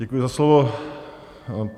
Děkuji za slovo.